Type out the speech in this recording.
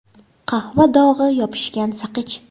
Qahva dog‘i, yopishgan saqich.